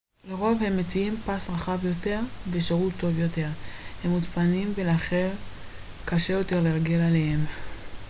לרוב הם מציעים פס רחב יותר ושירות טוב יותר הם מוצפנים ולכן קשה יותר לרגל אחריהם